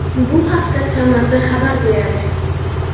Bu haqda TMZ xabar beradi .